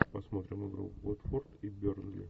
посмотрим игру уотфорд и бернли